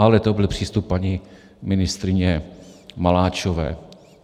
Ale to byl přístup paní ministryně Maláčové.